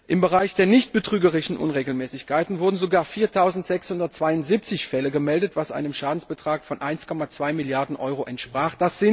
Im Bereich der nicht betrügerischen Unregelmäßigkeiten wurden sogar 4672 Fälle gemeldet, was einem Schadensbetrag von 1,2 Milliarden Euro entsprach.